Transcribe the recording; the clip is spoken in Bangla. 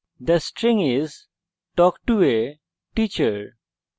the string is talk to a teacher